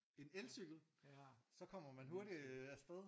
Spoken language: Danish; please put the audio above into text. En elcykel? Så kommer man hurtigt afsted